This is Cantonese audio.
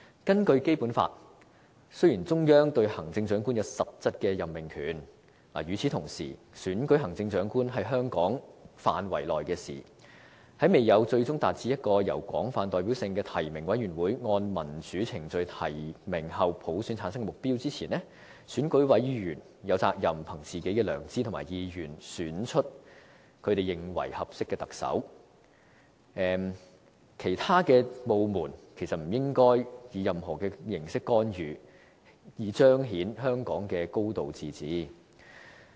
根據《基本法》，雖然中央對行政長官有實質任命權，但與此同時，選舉行政長官是香港自治範圍內的事，在未有"最終達至由一個有廣泛代表性的提名委員會按民主程序提名後普選產生的目標"前，選委有責任憑自己的良知和意願，選出他們認為合適的特首，其他部門不應以任何形式干預，以彰顯香港的"高度自治"。